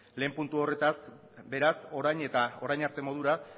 lehen puntu horretaz beraz orain eta orain arte modura